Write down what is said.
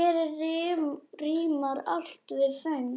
Hér rímar allt við föng.